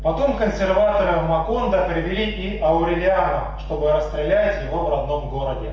потом консерватором ваконда првели и аурелиана чтобы расстрелять его в родном городе